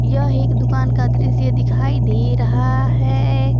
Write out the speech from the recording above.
यह एक दुकान का दृश्य दिखाई दे रहा है।